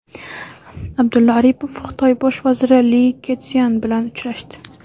Abdulla Aripov Xitoy bosh vaziri Li Ketsyan bilan uchrashdi.